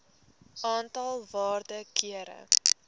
aantal waarde kere